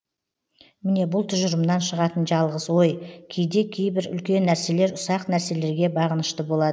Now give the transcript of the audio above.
міне бұл тұжырымнан шығатын жалғыз ой кейде кейбір үлкен нәрселер ұсақ нәрселерге бағынышты болад